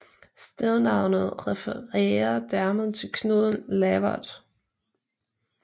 Stednavnet refererer dermed til Knud Lavard